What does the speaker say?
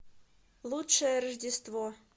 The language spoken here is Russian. лучшее рождество